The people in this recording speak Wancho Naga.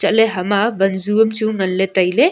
ale hama wan ju am chu ngan le taile.